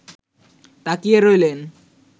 তাকিয়ে রইলেন